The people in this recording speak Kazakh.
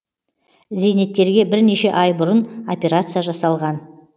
зейнеткерге бірнеше ай бұрын операция жасалған